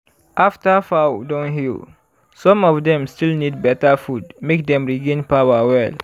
after fowl don heal some of dem still need beta food make dem regain power well.